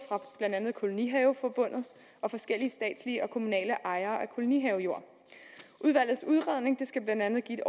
blandt andet fra kolonihaveforbundet og forskellige statslige og kommunale ejere af kolonihavejord udvalgets udredning skal blandt andet give et